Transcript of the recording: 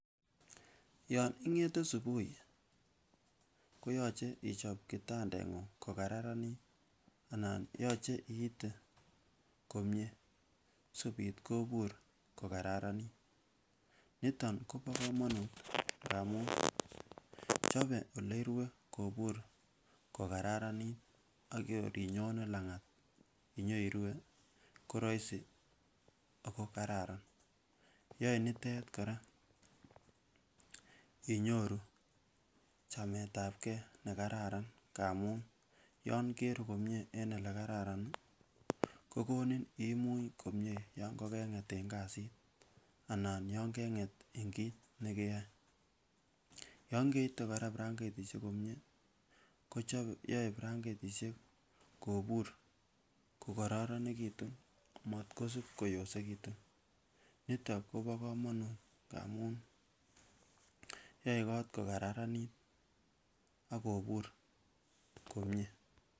yon ingete subui koyoche ichop kitandengung kokararanit anan yoche iite komie sikobit kobur kokararanit niton kobo komonut amun chobe oleirue kobur kokararanit ak kor inyone langat inyoirue koroisi akokararan yoe nitet kora inyoru chametabgee nekararan amun yan keruu komie eng elekararan ih kokonin imuny komie yan kokenget en kasit anan yon kenget eng kit nekeyoe, yon keite kora branketisiek komie kochobe yoe branketisiek kobur kokoronekitun matkosib koyosekitun niton kobo komonut amun yoe kot kokararanit akobur komie